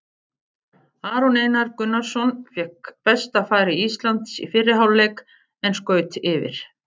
Aron Einar Gunnarsson fékk besta færi Íslands í fyrri hálfleik en skaut yfir.